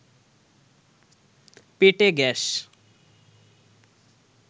পেটে গ্যাস